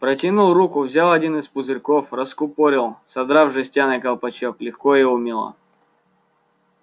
протянул руку взял один из пузырьков раскупорил содрав жестяной колпачок легко и умело